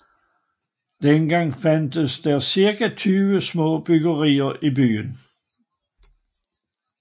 Dengang fandtes der cirka 20 små bryggerier i byen